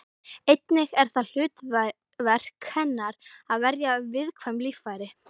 Einnig er það hlutverk hennar að verja viðkvæm líffæri.